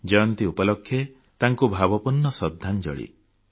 ଜୟନ୍ତୀ ଉପଲକ୍ଷେ ତାଙ୍କୁ ଭାବପୂର୍ଣ୍ଣ ଶ୍ରଦ୍ଧାଞ୍ଜଳି